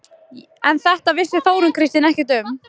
En þetta vissi Þórunn Kristín ekkert um.